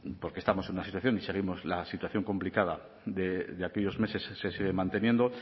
porque estamos en una situación y seguimos la situación complicada de aquellos meses se sigue manteniendo